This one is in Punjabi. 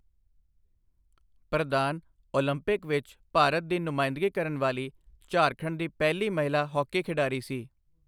ਪ੍ਰਧਾਨ ਓਲੰਪਿਕ ਵਿੱਚ ਭਾਰਤ ਦੀ ਨੁਮਾਇੰਦਗੀ ਕਰਨ ਵਾਲੀ ਝਾਰਖੰਡ ਦੀ ਪਹਿਲੀ ਮਹਿਲਾ ਹਾਕੀ ਖਿਡਾਰੀ ਸੀ।